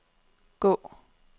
gå